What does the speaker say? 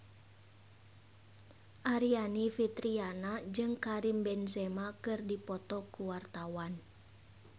Aryani Fitriana jeung Karim Benzema keur dipoto ku wartawan